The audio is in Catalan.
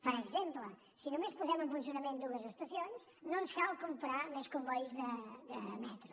per exemple si només posem en funcionament dues estacions no ens cal comprar més combois de metro